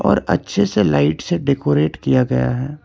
और अच्छे से लाइट से डेकोरेट किया गया है।